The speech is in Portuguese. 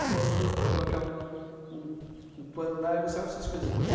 Pegava umas coisas, colocava uma um um pano lá e gostava dessas coisinhas.